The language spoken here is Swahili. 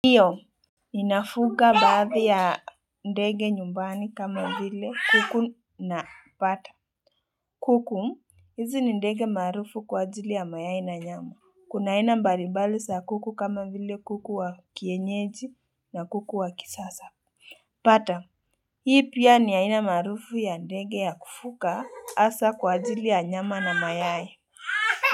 Ndiyo, ninafuga baadhi ya ndege nyumbani kama vile kuku na pata. Kuku, hizi ni ndege maarufu kwa ajili ya mayai na nyama. Kuna aina mbalibali sa kuku kama vile kuku wa kienyeji na kuku wa kisasa. Pata, hii pia ni aina maarufu ya ndege ya kufuka asa kwa ajili ya nyama na mayai.